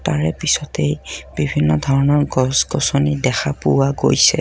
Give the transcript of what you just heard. তাৰেপিছতেই বিভিন্ন ধৰণৰ গছ-গছনী দেখা পোৱা গৈছে।